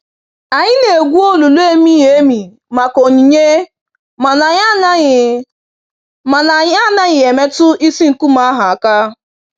Anyị na-egwu olulu emighi-emi maka onyinye mana anyị anaghị mana anyị anaghị emetụ isi nkume ahụ aka.